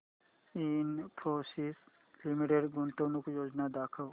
Infosys limited गुंतवणूक योजना दाखव